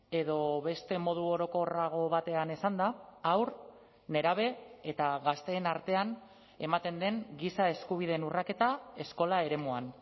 edo beste modu orokorrago batean esanda haur nerabe eta gazteen artean ematen den giza eskubideen urraketa eskola eremuan